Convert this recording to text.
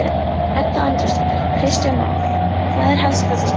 Edda Andrésdóttir: Kristján Már, hvað er helst þessa stundina?